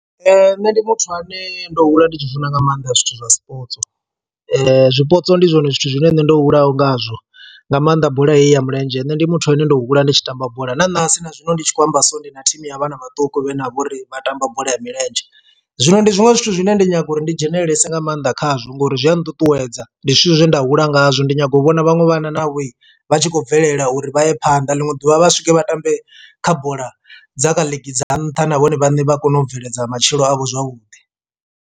Nṋe ndi muthu ane ndo hula ndi tshi funa nga maanḓa zwithu zwa zwipotso, zwipotso ndi zwone zwithu zwine nṋe ndo hulaho ngazwo nga maanḓa bola heyi ya mulenzhe nṋe ndi muthu ane ndo hula ndi tshi tamba bola na ṋahasi na zwino ndi tshi khou amba so ndi na thimu ya vhana vhaṱuku vhane vha vhori vha tamba bola ya milenzhe. Zwino ndi zwiṅwe zwithu zwine ndi nyaga uri ndi dzhenelelesa nga maanḓa khazwo ngori zwi a nṱuṱuwedza ndi zwithu zwe nda hula ngazwo ndi nyago u vhona vhaṅwe vhana navho vha tshi khou bvelela uri vha ye phanḓa ḽiṅwe ḓuvha vha swike vha tambe kha bola dza kha league dza nṱha na vhone vhaṋe vha kone u bveledza matshilo avho zwavhuḓi.